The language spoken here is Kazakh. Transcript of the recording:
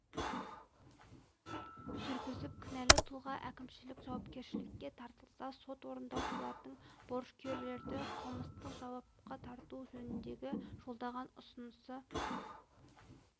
жүргізіп кінәлі тұлға әкімшілік жауапкершілікке тартылса сот орындаушылардың борышкерлерді қылмыстық жауапқа тарту жөнінде жолдаған ұсынысы